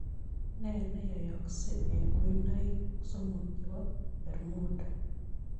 Nee neyoyoksek eng' kuinoiik somok che po bermuda